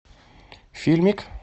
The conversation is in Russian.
фильмик